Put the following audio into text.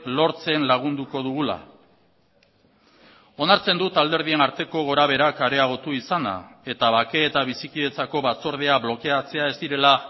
lortzen lagunduko dugula onartzen dut alderdien arteko gorabeherak areagotu izana eta bake eta bizikidetzako batzordea blokeatzea ez direla